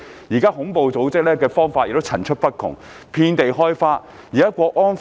現時恐怖組織所用的方法層出不窮，遍地開花。